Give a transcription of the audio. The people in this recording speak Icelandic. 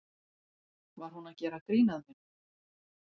Var hún að gera grín að mér?